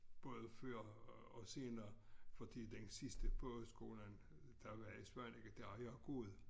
Både før og senere fordi den sidste pogeskolen der var i Svaneke der har jeg gået